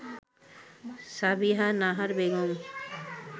Sabiha Nahar Begum